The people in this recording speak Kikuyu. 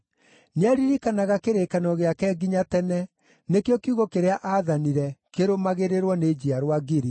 Nĩaririkanaga kĩrĩkanĩro gĩake nginya tene, nĩkĩo kiugo kĩrĩa aathanire, kĩrũmagĩrĩrwo nĩ njiarwa ngiri,